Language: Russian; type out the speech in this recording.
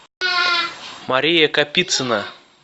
мария капицына